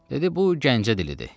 Dedi bu Gəncə dilidir.